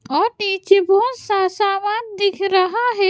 और बहोत सा सामान दिख रहा है।